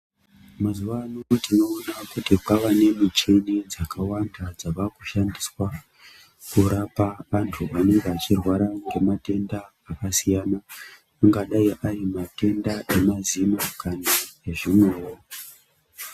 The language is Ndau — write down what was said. Mazuva ano tinoona kuti kwava nemichini dzakawanda dzinoshandiswa kurapa vantu vanenge vachirwara ngematenda akasiyana angakadai ari matenda emazino kana ezvimwewo.